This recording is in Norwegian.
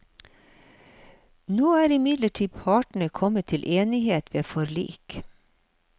Nå er imidlertid partene kommet til enighet ved forlik.